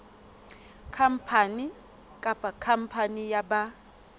khampani kapa khampani ya ba